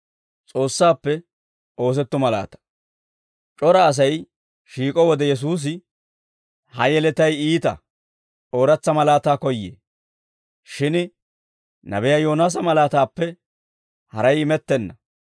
C'ora Asay shiik'o wode Yesuusi, «Ha yeletay iita; ooratsa malaataa koyyee; shin nabiyaa Yoonaasa malaataappe haray imettenna.